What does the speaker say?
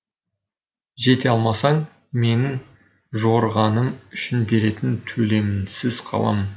жете алмасаң менің жорығаным үшін беретін төлеміңсіз қаламын